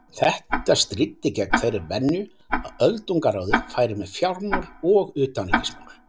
Þetta stríddi gegn þeirri venju að öldungaráðið færi með fjármál og utanríkismál.